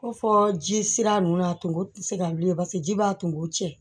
Ko fɔ ji sira nunnu a tun tɛ se ka wuli paseke ji b'a tungo cɛ